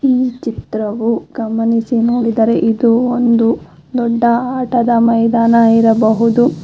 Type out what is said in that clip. ಈ ಚಿತ್ರವು ಗಮನಿಸಿ ನೋಡಿದರೆ ಇದು ಒಂದು ದೊಡ್ಡ ಆಟದ ಮೈದಾನ ಇರಬಹುದು.